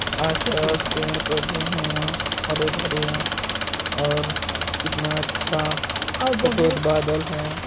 आसपास पेड़ पौधे हैं हरे भरे और कितना अच्छा सफ़ेद बादल हैं।